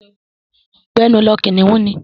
Gbẹ́nu lọ! Kìnnìún ni.